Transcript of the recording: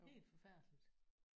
Helt forfærdeligt